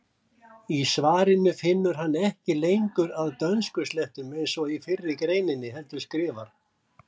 Í svarinu finnur hann ekki lengur að dönskuslettum eins og í fyrri greininni heldur skrifar: